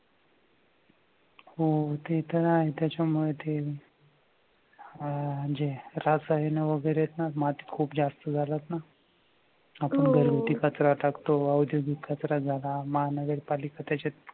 हो ते तर आहेच त्याच्यामुळे ते अह म्हणजे ऱ्हास झाली ना वगैरे ना माती खूप जास्त जातात ना आपण घरातून कचरा टाकतो औद्योगिक कचरा झाला मानवी